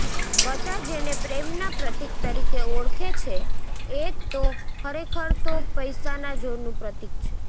બધા જેને પ્રેમના પ્રતિક તરીકે ઓળખે છે એ તો ખરેખર તો પૈસાના જોરનું પ્રતિક છે